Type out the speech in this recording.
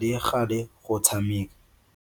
le gale go tshameka.